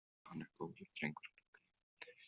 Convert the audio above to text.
Hann er góður drengur hann Högni.